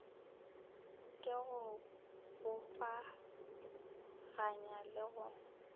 ke go bopaganya le go